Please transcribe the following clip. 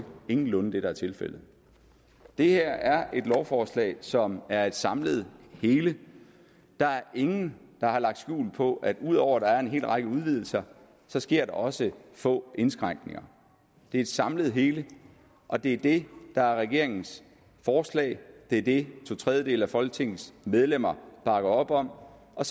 ingenlunde det der er tilfældet det her er et lovforslag som er et samlet hele der er ingen der har lagt skjul på at ud over at der er en hel række udvidelser så sker der også få indskrænkninger det er et samlet hele og det er det der er regeringens forslag det er det to tredjedele af folketingets medlemmer bakker op om og